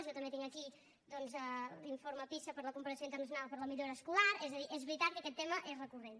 jo també tinc aquí doncs l’informe pisa per a la comparació internacional per la millora escolar és a dir és veritat que aquest tema és recurrent